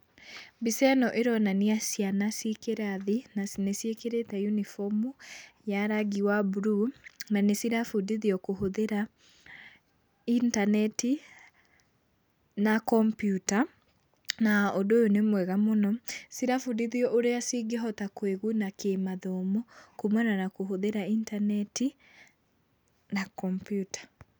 Mbica ĩno ĩronania ciana ciĩ kĩrathi na nĩciĩkĩrĩte unibomu ya rangi wa mbuluu na nĩcirabundithio kũhũthĩra intaneti na kompiuta. Na ũndũ ũyũ nĩ mwega mũno. Cirabundithiio ũrĩa cingĩhota kwĩguna kĩmathomo kuumana na kũhũthĩra intaneti na kompiuta.